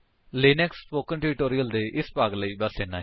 Linux spoken tutorial ਦੇ ਇਸ ਭਾਗ ਲਈ ਬਸ ਇੰਨਾ ਹੀ